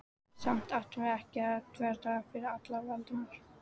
Samt ættum við ekki að þvertaka fyrir það, Valdimar.